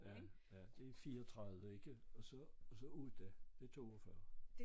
Ja ja det 34 ikke og så og så ude det 42